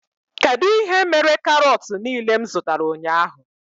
Kedụ ihe mere karot niile m zụtara ụnyaahụ?